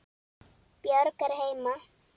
Björg er heima.